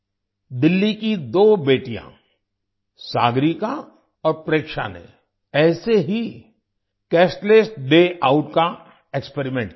दिल्ली की दो बेटियाँ सागरिका और प्रेक्षा ने ऐसे ही कैशलेस डे आउट का एक्सपेरिमेंट किया